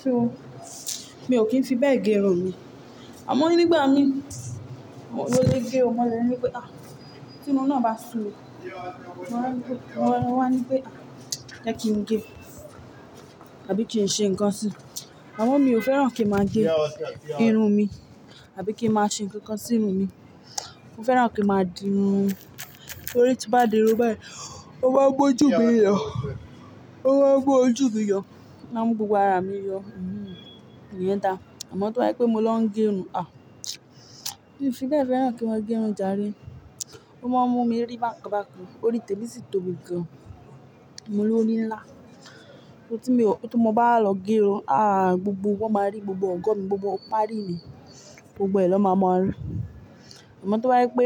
So mi ò kí ń fi bẹ́ẹ̀ gé irun mi. Àmọ́ nígbà mìí, mo ló lè gé o ma lè nípé, "à tí mo náà bá ṣúmi, máa wá ní pé, wáwa ní pé a 'jẹ́ kí n gé, àbí kí n ṣe ǹkan sí'." Àmọ́ mi ò fẹ́ràn kí n máa gé irun mi àbí kí n máa ṣe ǹkan kan sí irun mi. Mo fẹ́ràn kí n máa di irun, torí tí n bá di irun báyì, ó máa ń mójú mìí yọ, ó máa ń mú ojú mi yọ, ó máa mú gbogbo ara mi yọ. Ìyẹn dá. Àmọ́ tí wọ́n bá pé mo ló ń gé irun, à mi ò fi bẹ́ẹ̀ fẹ́ràn kí n máa gé irun jàre. Ó máa ń mú mi rí bákan bákan, torí tẹ́mí sì tóbi gan. Mo lórí ń lá. Torí tí mo bá wá lọ gé irun, à gbogbo wọn máa rí, gbogbo ọ̀go mi, gbogbo páarí mi, gbogbo ẹ̀ lọ máa mọ̀ rí. Àmọ́ tí wọ́n bá pé.